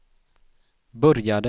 började